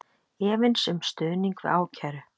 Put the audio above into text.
Efins um stuðning við ákæru